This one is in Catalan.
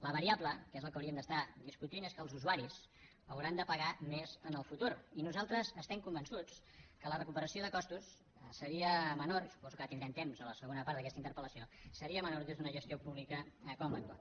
la variable que és del que hauríem de discutir és que els usuaris hauran de pagar més en el futur i nosaltres estem convençuts que la recuperació de costos seria menor i suposo que ara en tindrem temps a la segona part d’aquesta interpel·lació des d’una gestió pública com l’actual